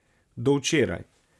Do včeraj...